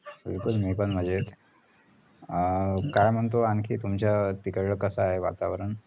बिलकुल मी पण मजेत अं काय म्हणतो आणखी तुमच्यां तिकडल कस आहे वातावरण